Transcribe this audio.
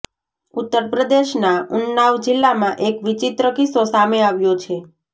ઉત્તર પ્રદેશના ઉન્નાવ જિલ્લામાં એક વિચિત્ર કિસ્સો સામે આવ્યો છે